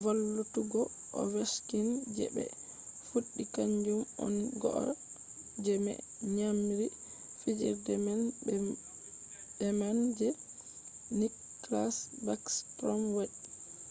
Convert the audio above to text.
valllutuggo ovechkin je be fuddi kanjum on goal je me nyamiri fijirde man beman je nicklas backstrom wadi